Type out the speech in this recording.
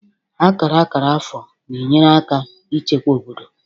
Akara akara afọ na-enyere aka ichekwa obodo